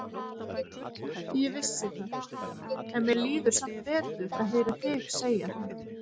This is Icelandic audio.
Ég vissi það, en mér líður samt betur að heyra þig segja það.